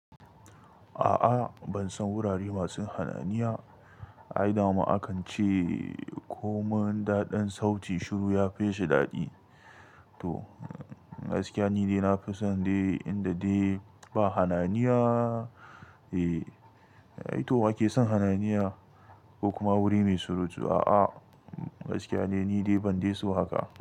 A'a bansan wurare masu hayaniya, ai dama akan ce komai daɗin sauti shiru ya fi shi daɗi. To gaskiya ni dai nafi son dai inda dai ba hayaniya e, ai to wake son hayaniya, kuma wuri mai surutu a'a gaskiya ne ni dai ban dai so haka.